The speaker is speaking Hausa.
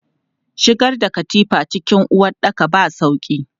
Shigar da katifa cikin uwaɗɗaka ba sauƙi.